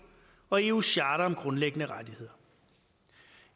og eus charter om grundlæggende rettigheder